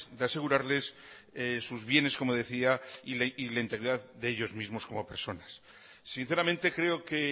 de asegurarles sus bienes como decía y la integridad de ellos mismos como personas sinceramente creo que